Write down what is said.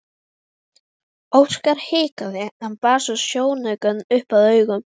Óskar hikaði en bar svo sjónaukann upp að augunum.